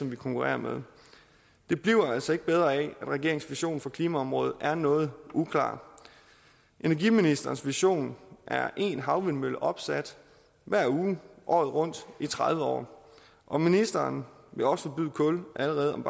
vi konkurrerer med det bliver altså ikke bedre af at regeringens vision for klimaområdet er noget uklar energiministerens vision er én havvindmølle opsat hver uge året rundt i tredive år og ministeren vil også forbyde kul om allerede